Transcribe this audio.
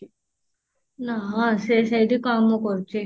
ନା ହଁ ସିଏ ସେଇଠି କାମ କରୁଛି